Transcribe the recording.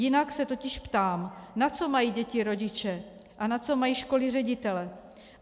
Jinak se totiž ptám, na co mají děti rodiče a na co mají školy ředitele.